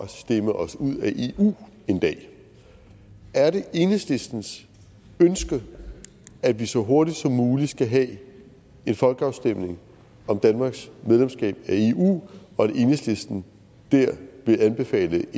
at stemme os ud af eu en dag er det enhedslistens ønske at vi så hurtigt som muligt skal have en folkeafstemning om danmarks medlemskab af eu og vil enhedslisten der anbefale en